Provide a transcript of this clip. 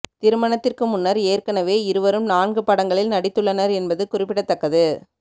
திருமணத்திற்கு முன்னர் ஏற்கனவே இருவரும் நான்கு படங்களில் நடித்துள்ளனர் என்பது குறிப்பிடத்தக்கது